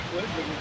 Qardaşım.